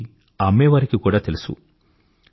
ఇది అమ్మేవారికి కూడా తెలుసు